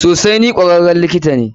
Sosai, ni kwararren likita ne.